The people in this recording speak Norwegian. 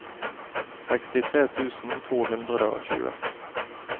sekstitre tusen to hundre og tjue